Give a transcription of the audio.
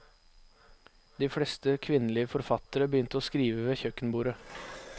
De fleste kvinnelige forfattere begynte å skrive ved kjøkkenbordet.